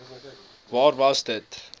waar was dit